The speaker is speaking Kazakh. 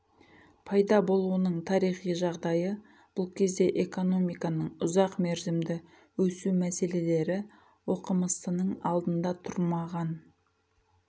пайда болуының тарихи жағдайы бұл кезде экономиканың ұзақ мерзімді өсу мәселері оқымыстының алдында тұрмаған